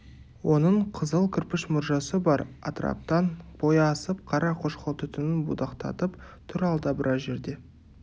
оның қызыл кірпіш мұржасы бар атыраптан бойы асып қара қошқыл түтінін будақтатып тұр алда біраз жерде